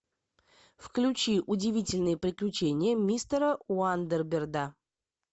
включи удивительные приключения мистера уандерберда